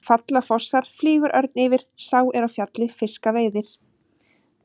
Falla fossar, flýgur örn yfir, sá er á fjalli fiska veiðir.